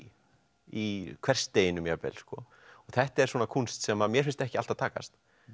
í hversdeginum jafnvel sko þetta er kúnst sem mér finnst ekki alltaf takast